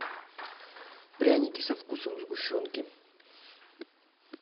пряники со вкусом сгущенки